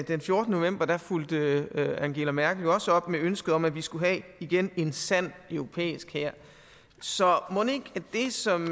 den fjortende november fulgte angela merkel det jo også op med ønsket om at vi skulle have igen en sand europæisk hær så mon ikke det som